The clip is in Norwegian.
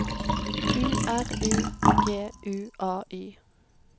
U R U G U A Y